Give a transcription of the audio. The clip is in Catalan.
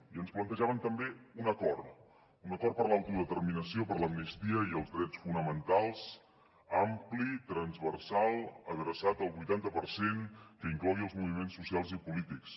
i ens plantejaven també un acord un acord per a l’autodeterminació per a l’amnistia i els drets fonamentals ampli transversal adreçat al vuitanta per cent que inclogui els moviments socials i polítics